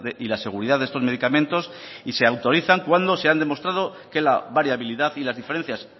y la seguridad de estos medicamentos y se autorizan cuando se han demostrado que la variabilidad y las diferencias